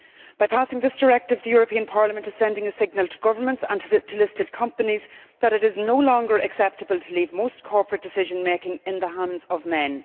By adopting this directive, Parliament is sending a signal to governments and to listed companies that it is no longer acceptable to leave most corporate decision making in the hands of men.